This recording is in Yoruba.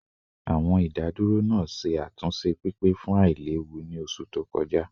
Awọn idaduro naa ṣe atunṣe pipe fun ailewu ni oṣu to kọja